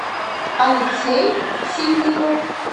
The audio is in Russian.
алексей ситников